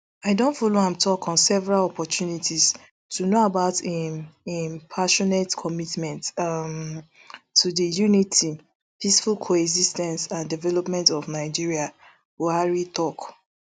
i don follow am tok on several opportunities to know about im im passionate commitment um to di unity peaceful coexis ten ce and development of nigeria buhari tok